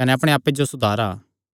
कने अपणे आप्पे जो सुधारा